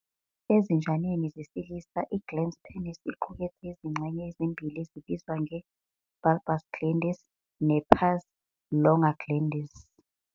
Ezinjaneni zesilisa, i-glans penis iqukethe izingxenye ezimbili ezibizwa nge- "bulbus glandis" ne- "pars longa glandis."